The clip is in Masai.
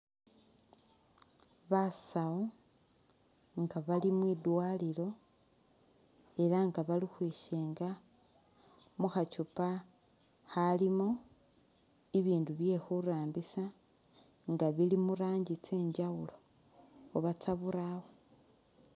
Basawu nga bali mwindwalilo elah nga bakhwishenga Mukha chupa khalimo ibindu byekhurambisa nga bili muranji tsenjawulo oba tsaburawa